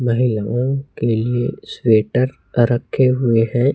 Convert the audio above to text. महिलाओं के लिए स्वेटर रखे हुए हैं।